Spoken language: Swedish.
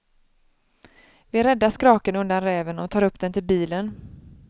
Vi räddar skraken undan räven och tar upp den till bilen.